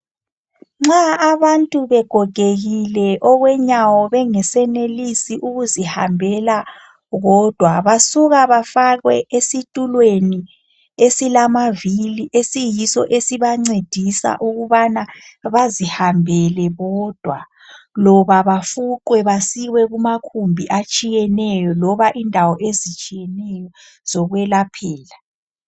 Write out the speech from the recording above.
Nxa abantu begogekile okwenyawo bengesenilisi ukuzihambela bodwa, basuka bafakwe esitulweni esilamavili esiyiso esibancedisa ukubana bazihambele bodwa loba bafuqwe basiwe kumakhumbi atshiyeneyo loba indawo ezitshiyeneyo zokwelaphela.